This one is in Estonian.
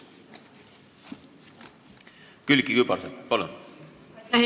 Külliki Kübarsepp, palun!